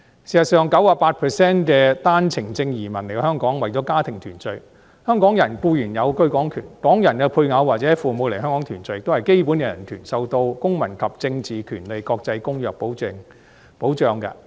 事實上 ，98% 的單程證移民來香港是為了家庭團聚，香港人固然有居港權，港人配偶或父母來港團聚都是基本人權，受到《公民權利和政治權利國際公約》保障。